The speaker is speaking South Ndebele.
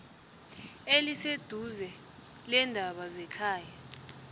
eliseduze leendaba zekhaya